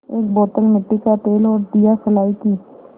एक बोतल मिट्टी का तेल और दियासलाई की